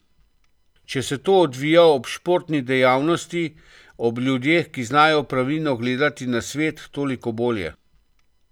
Če se to odvija ob športni dejavnosti, ob ljudeh, ki znajo pravilno gledati na svet, toliko bolje.